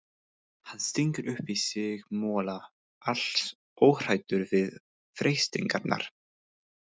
Hann stingur upp í sig mola, alls óhræddur við freistingarnar.